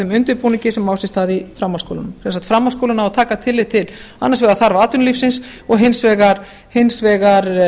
þeim undirbúningi sem á sér stað í framhaldsskólunum sem sagt framhaldsskólinn á að taka tillit til annars vegar þarfa atvinnulífsins og hins vegar